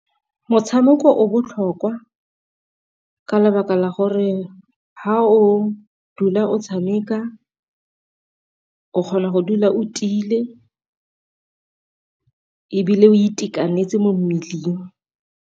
Motshameko o botlhokwa ka lebaka la gore fa o dula o tshameka, o kgona go dula o tiile, ebile o itekanetse mo mmeleng.